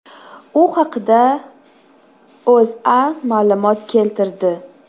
U haqda O‘zA ma’lumot keltirdi .